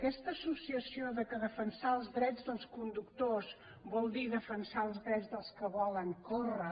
aquesta associació que defensar els drets dels conductors vol dir defensar els drets dels que volen córrer